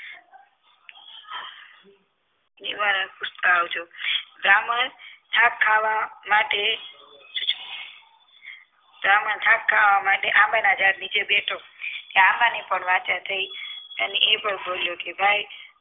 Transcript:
નિવારણ પૂછતાં આવજો બ્રાહ્મણ આ ખાવા માટે બ્રાહ્મણ થાક ખાવા માટે આંબાના ઝાડ નીચે બેઠો કે આંબા ની પણ થઈ અને એ પણ બોલ્યો કે ભાઈ